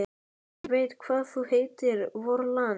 Ég veit hvað það heitir: VORLAND!